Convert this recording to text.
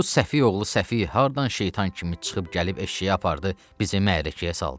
bu səfi oğlu səfi haradan şeytan kimi çıxıb gəlib eşşəyi apardı bizi məhəlləyə saldı.